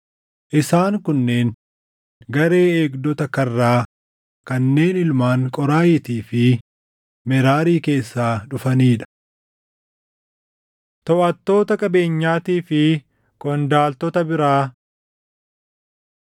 Isaan kunneen garee eegdota karraa kanneen ilmaan Qooraahiitii fi Meraarii keessaa dhufanii dha. Toʼattoota Qabeenyaatii fi Qondaaltota Biraa